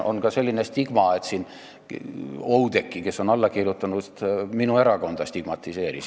Oudekki, kes on eelnõule alla kirjutanud, stigmatiseeris minu erakonda.